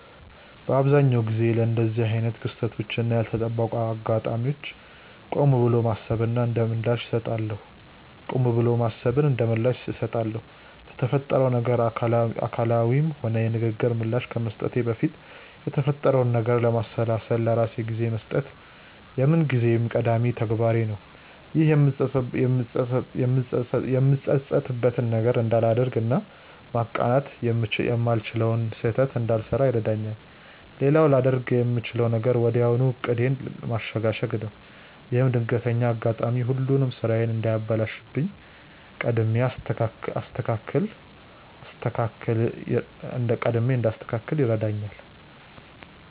በአብዛኛው ጊዜ ለእንደዚህ አይነት ክስተቶች እና ያልተጠበቁ አጋጣሚዎች ቆም ብሎ ማሰብን እንደምላሽ እሰጣለሁ። ለተፈጠረው ነገር አካላዊም ሆነ የንግግር ምላሽ ከመስጠቴ በፊት የተፈጠረውን ነገር ለማሰላሰል ለራሴ ጊዜ መስጠት የምንጊዜም ቀዳሚ ተግባሬ ነው። ይህም የምጸጸትበትን ነገር እንዳላደርግ እና ማቃናት የማልችለውን ስህተት እንዳልሰራ ይረዳኛል። ሌላው ላደርግ የምችለው ነገር ወዲያው ዕቅዴን ማሸጋሸግ ነው። ይህም ድንገተኛው አጋጣሚ ሁሉንም ስራዬን እንዳያበላሽብኝ ቀድሜ እንዳስተካክል ይረዳኛል።